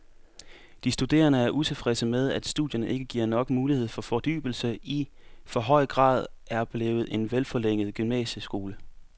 De studerende er utilfredse med, at studierne ikke giver nok mulighed for fordybelse og i for høj grad er blevet en forlænget gymnasieskole.